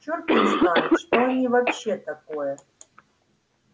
черт их знает что они вообще такое